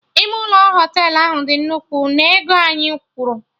Ime ụlọ Họtelụ ahụ dị nnukwu na ego anyị kwụrụ